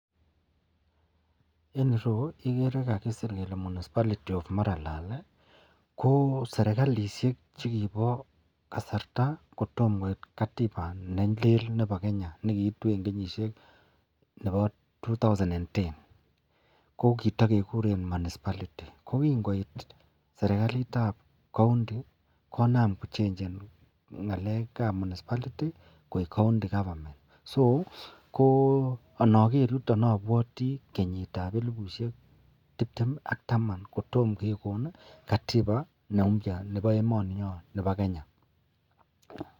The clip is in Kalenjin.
En ireyu igere Kole kakisir munispality of maralal koserikalishek chukibo kasarta kotomo koit katiba nelel Nebo Kenya nekiitu en kenyniahek twendi ten kokitakekuren munispality kokingoit serikalit ab county konam konam kochengenbngalek ab munispality koik county government ko anaker yuton abwati kenyit ab elibushiek tibtem ak Taman kotomo kekon katiba neubya Nebo emeniyon Nebo kenya.